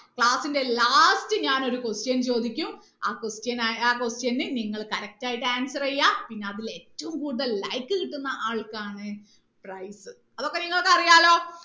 class ന്റെ last ഞാൻ ഒരു question ചോദിക്കും ആ question ന് ആൻ ആ question ന് നിങ്ങൾ correct ആയിട്ട് answer ചെയ്യാ പിന്ന അതിൽ ഏറ്റവും കൂടുതൽ like കിട്ടുന്ന ആൾക്കാണ് prize അതൊക്കെ നിങ്ങൾക്ക് അറിയാലോ